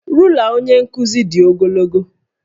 Rula onye nkuzi dị ogologo